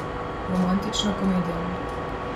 Romantična komedija.